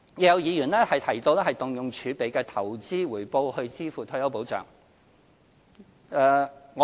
有議員提到動用儲備的投資回報以支付退休保障。